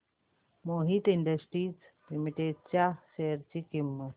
Mohit industries limited च्या share ची किंमत